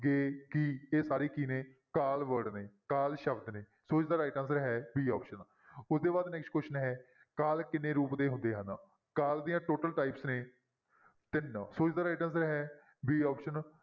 ਗਏ, ਗੀ ਇਹ ਸਾਰੇ ਕੀ ਨੇ ਕਾਲ word ਨੇ ਕਾਲ ਸ਼ਬਦ ਨੇ, ਸੋ ਇਸਦਾ right answer ਹੈ b option ਉਸਦੇ ਬਾਅਦ next question ਹੈ ਕਾਲ ਕਿੰਨੇ ਰੂਪ ਦੇ ਹੁੰਦੇ ਹਨ ਕਾਲ ਦੀਆਂ total types ਨੇ ਤਿੰਨ ਸੋ ਇਸਦਾ right answer ਹੈ b option